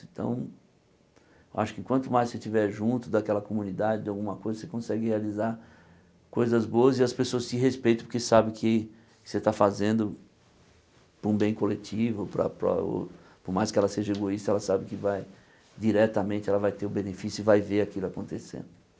Então, eu acho que quanto mais você estiver junto daquela comunidade, de alguma coisa, você consegue realizar coisas boas e as pessoas te respeitam porque sabem que você está fazendo por um bem coletivo, para para o por mais que ela seja egoísta, ela sabe que vai diretamente, ela vai ter o benefício e vai ver aquilo acontecendo.